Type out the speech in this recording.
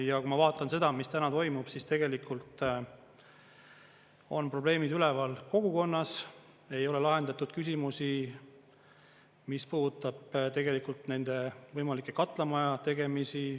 Ja kui ma vaatan seda, mis täna toimub, siis tegelikult on probleemid üleval kogukonnas, ei ole lahendatud küsimusi, mis puudutab tegelikult nende võimalike katlamaja tegemisi.